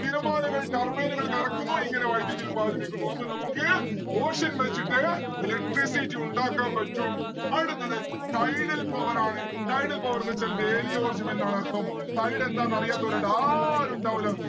തിരമാലകൾ turbine കൾ കറക്കുന്നു ഇങ്ങനെ വൈദ്യുതി ഉൽപ്പാദിപ്പിക്കുന്നു. അപ്പൊ നമ്മുക്ക് ocean വച്ചിട്ട് electricity ഉണ്ടാക്കാൻ പറ്റും. അടുത്തത് tidal power ആണ്. tidal power ന്ന്‌ വെച്ചാൽ വേലിയോർജം എന്നാണ് അർഥം. tide എന്താന്ന് അറിയാത്തോലായിട്ട് ആരും ഉണ്ടാവുല്ല